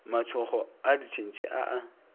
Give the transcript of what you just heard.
matšhokgo a ditšhentšhi a a